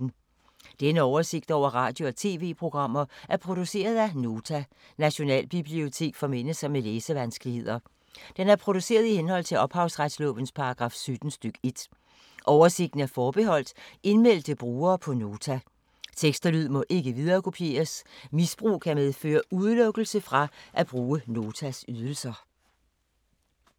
Denne oversigt over radio og TV-programmer er produceret af Nota, Nationalbibliotek for mennesker med læsevanskeligheder. Den er produceret i henhold til ophavsretslovens paragraf 17 stk. 1. Oversigten er forbeholdt indmeldte brugere på Nota. Tekst og lyd må ikke viderekopieres. Misbrug kan medføre udelukkelse fra at bruge Notas ydelser.